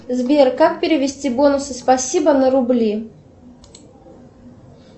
сбер как перевести бонусы спасибо на рубли